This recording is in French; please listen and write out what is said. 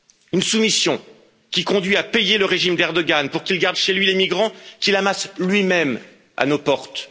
Une soumission qui conduit à payer le régime d'Erdoğan pour qu'il garde chez lui les migrants qu'il amasse lui même à nos portes.